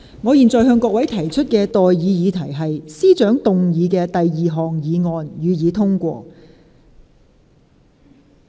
我現在向各位提出的待議議題是：政務司司長動議的第二項議案，予以通過。